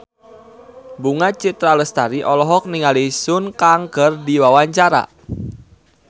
Bunga Citra Lestari olohok ningali Sun Kang keur diwawancara